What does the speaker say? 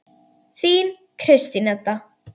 Þín Kristín Edda.